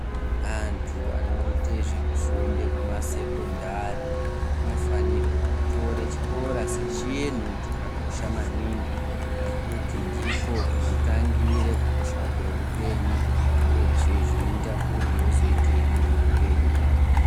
Antu anoite zvekufunde kumasekendari anofanirwe kutore chikora sechinhu chakakosha maningi ngekuti ndiko kunotangire kukosha kweupenyu uyezve zvinoita kuti wozoitei muhupenyu hwako.